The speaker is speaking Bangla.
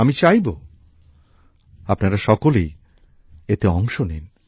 আমি চাইবো আপনারা সকলেই এতে অংশ নিন